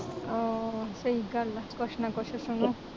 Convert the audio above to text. ਆਹ ਸਹੀ ਗੱਲ ਆ ਕੁਜ ਨਾ ਕੁਜ ਸੁਣੋ